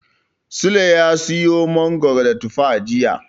Sule ya siyo mangoro da tufa jiya.